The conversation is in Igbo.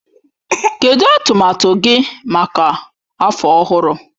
Kedụ atụmatụ gị maka afọ ọhụrụ?